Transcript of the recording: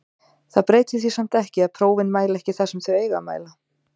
Það breytir því samt ekki að prófin mæla ekki það sem þau eiga að mæla.